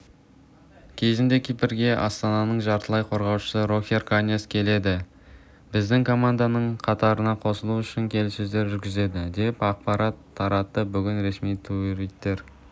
кезінде кипрге астананың жартылай қорғаушысы рохер каньяс келеді біздің команданың қатырына қосылу үшін келіссөздер жүргізеді деп ақпарат таратты бүгін ресми туиттері